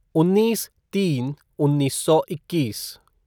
उन्नीस तीन उन्नीस सौ इक्कीस